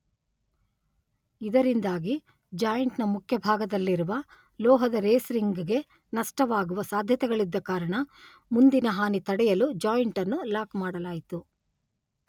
ಇದರಿಂದಾಗಿ ಜಾಯಿಂಟ್ ನ ಮುಖ್ಯಭಾಗದಲ್ಲಿರುವ ಲೋಹದ ರೇಸ್ ರಿಂಗ್ ಗೆ ನಷ್ಟವಾಗುವ ಸಾಧ್ಯತೆಗಳಿದ್ದ ಕಾರಣ ಮುಂದಿನ ಹಾನಿ ತಡೆಯಲು ಜಾಯಿಂಟ್ ಅನ್ನು ಲಾಕ್ ಮಾಡಲಾಯಿತು.